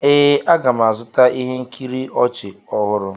Ee, m ga-azụta ihe nkiri ọchị ọhụrụ.